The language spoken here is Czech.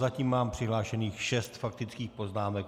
Zatím mám přihlášených šest faktických poznámek.